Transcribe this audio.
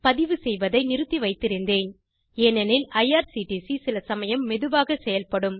இதை நிறுத்தி வைத்திருந்தேன் ஏனெனில் ஐஆர்சிடிசி சில சமயம் மெதுவாகச் செயல்படும்